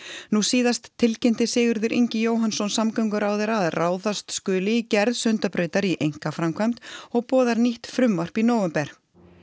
nú síðast tilkynnti Sigurður Ingi Jóhannsson samgönguráðherra að ráðast skuli í gerð Sundabrautar í einkaframkvæmd og boðar nýtt frumvarp í nóvember